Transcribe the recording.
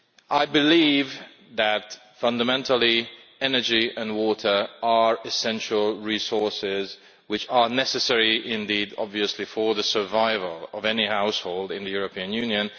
I believe that, fundamentally, energy and water are essential resources which are necessary for the survival of any household in the European Union.